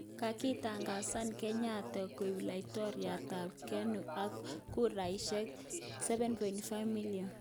Kakitangazan Kenyatta koik Laitoriat ap. Kenua ak kurainik 7.5M